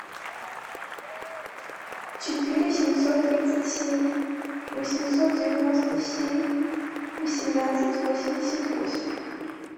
четыре семьсот тридцать семь восемьсот девяносто семь восемнадцать восемьдесят восемь